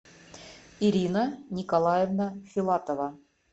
ирина николаевна филатова